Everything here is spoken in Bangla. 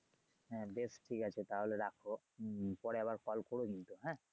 হ্যা বেশ ঠিক আছে তাহলে রাখো উম পরে আবার call করো কিন্তু হ্যা।